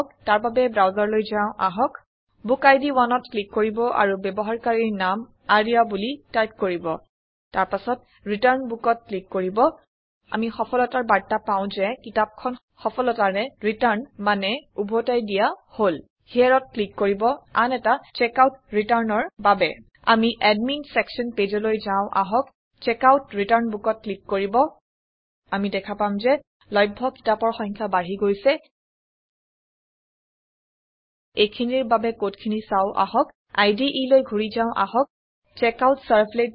তাৰ বাবে ব্ৰাউচাৰলৈ যাও আহক বুকিড 1ত ক্লিক কৰিব আৰু ব্যৱহাৰকাৰীৰ নাম আৰ্য্যা বুলি টাইপ কৰিব তাৰ পাছত ৰিটাৰ্ণ bookত ক্লিক কৰিব আমি সফলতাৰ বাৰ্তা পাও যে কিতাপ খন সফলতাৰে ৰিটাৰ্ণ মানে উভতাই দিয়া হল Hereত ক্লিক কৰিব আন এটা checkoutreturnৰ বাবে আমি এডমিন ছেকশ্যন Pageলৈ যাও আহক checkoutৰিটাৰ্ণ Bookত ক্লিক কৰিব আমি দেখা পাম যে লভ্য কিতাপৰ সংখ্যা বাঢ়ি গৈছে এইখিনিৰ বাবে কড খিনি চাও আহক IDEলৈ ঘূৰি যাও আহক চেকআউটছাৰ্ভলেট